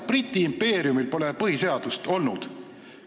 Briti impeeriumil ei ole põhiseadust olnud.